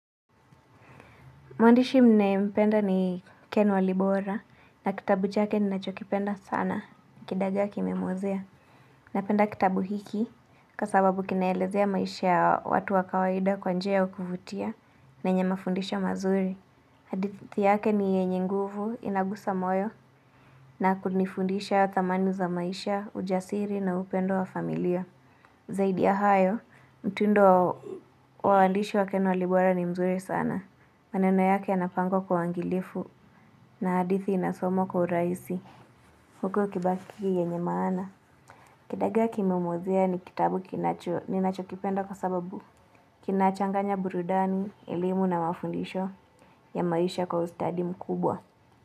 Mwandishi ninayependa ni Ken Walibora na kitabu chake ninachokipenda sana kidagaa kimemuozea. Napenda kitabu hiki kwa sababu kinaelezea maisha watu wa kawaida kwa njia ya kuvutia na yenye mafundisha mazuri. Hadithi yake ni yenye nguvu inagusa moyo na kunifundisha thamani za maisha, ujasiri na upendo wa familia. Zaidi ya hayo, mtundo wa wandishi wa Ken Walibora ni mzuri sana. Maneno yake yanapangwa kwa wangilifu na hadithi inasomwa kwa urahisi huku ikibaki yenye maana. Kidagaa kimemuozea ni kitabu kinacho, ninacho kipenda kwa sababu. Kinachanganya burudani, elimu na mafundisho ya maisha kwa ustadi mkubwa.